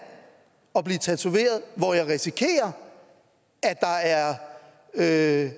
og blive tatoveret hvor jeg risikerer at